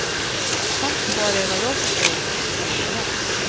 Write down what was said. Hans svar är vad jag förstår tvådelat.